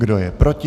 Kdo je proti?